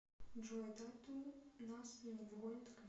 джой тату нас не догонят клип